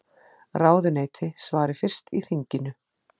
Ráðuneyti svari fyrst í þinginu